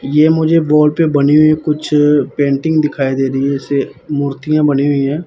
ये मुझे वॉल पे बनी हुई कुछ पेंटिंग दिखाई दे री है इसे मूर्तियां बनी हुई है।